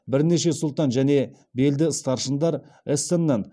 бірнеше сұлтан және белді старшындар эссеннен